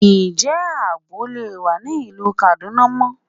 Ǹjẹ́ àbọ̀ lè wà ní ìlú Kaduna mọ́?